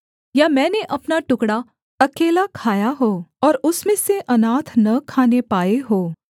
या मैंने अपना टुकड़ा अकेला खाया हो और उसमें से अनाथ न खाने पाए हों